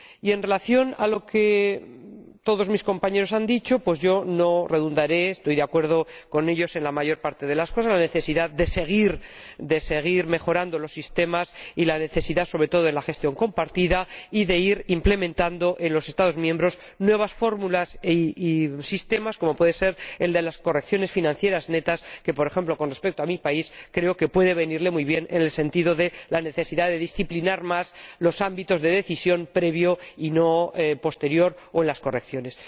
En relación con lo que todos mis compañeros han dicho, yo no insistiré. Estoy de acuerdo con ellos en la mayor parte de las cosas la necesidad de seguir mejorando los sistemas y la necesidad, sobre todo, de la gestión compartida y de ir implementando en los Estados miembros nuevas fórmulas y sistemas, como puede ser el de las correcciones financieras netas que, por ejemplo, con respecto a mi país, creo que puede venir muy bien en el sentido de la necesidad de disciplinar más los ámbitos de decisión en una fase previa y no posterior o en las correcciones.